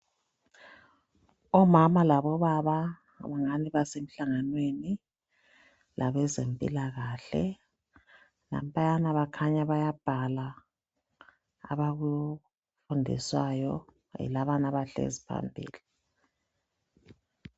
Omama labobaba basemhlangwaneni labezempilakahle kukhaya bayabhala abakufundiswayo yilabo abahleli phambili.